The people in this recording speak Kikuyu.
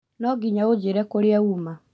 No nginya ũnjire kũrĩa uma